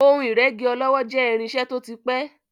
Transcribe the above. Ohun ìrẹ́gí ọlọ́wọ́ jẹ́ irinṣẹ́ tó ti pẹ́.